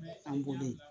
An bolo